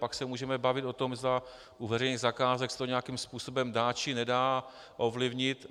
Pak se můžeme bavit o tom, zda u veřejných zakázek se to nějakým způsobem dá, či nedá ovlivnit.